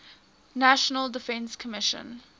national defense commission